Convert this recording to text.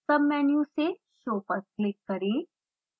submenu से show पर click करें